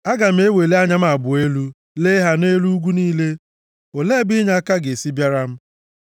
Aga m eweli anya m abụọ elu, lee ha nʼelu ugwu niile, olee ebe inyeaka ga-esi bịara m?